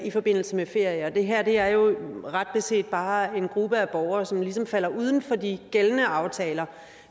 i forbindelse med ferier det her er jo ret beset bare en gruppe af borgere som ligesom falder uden for de gældende aftaler